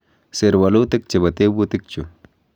Sir walutik chebo tebutik chu